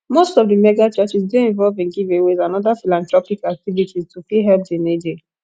most of the megachurchs dey involve in giveaways and other philanthropic activities to fit help di needy